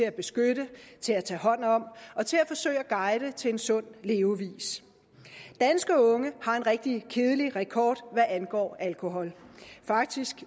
at beskytte til at tage hånd om og til at forsøge at guide til en sund levevis danske unge har en rigtig kedelig rekord hvad angår alkohol faktisk